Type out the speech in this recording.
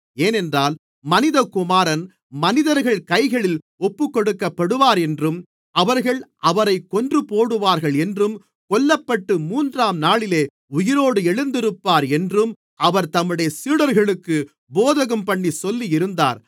ஏனென்றால் மனிதகுமாரன் மனிதர்கள் கைகளில் ஒப்புக்கொடுக்கப்படுவார் என்றும் அவர்கள் அவரைக் கொன்றுபோடுவார்கள் என்றும் கொல்லப்பட்டு மூன்றாம்நாளிலே உயிரோடு எழுந்திருப்பார் என்றும் அவர் தம்முடைய சீடர்களுக்குப் போதகம்பண்ணிச் சொல்லியிருந்தார்